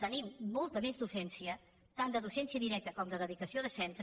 tenim molta més docència tant de docència directa com de dedicació de centre